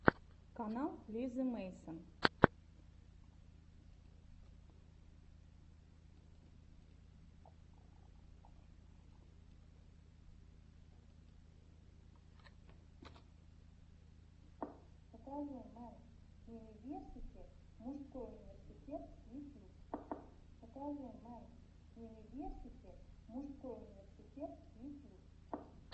канал лизы мэйсон